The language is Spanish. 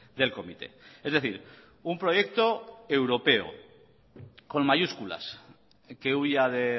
del comité es decir un proyecto europeo con mayúsculas que huya de